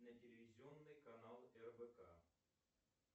на телевизионный канал рбк